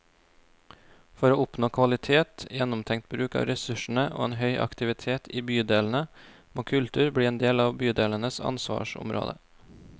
For å oppnå kvalitet, gjennomtenkt bruk av ressursene og en høy aktivitet i bydelene, må kultur bli en del av bydelenes ansvarsområde.